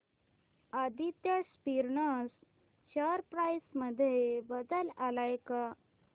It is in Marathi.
आदित्य स्पिनर्स शेअर प्राइस मध्ये बदल आलाय का